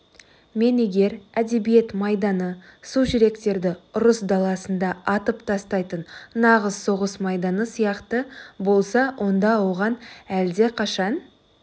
мен егер әдебиет майданы су жүректерді ұрыс даласында атып тастайтын нағыз соғыс майданы сияқты болса онда оған әлдеқашан